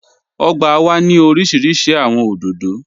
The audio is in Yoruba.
Ọ̀gbà wà ni orísíríṣí awọn odòdó.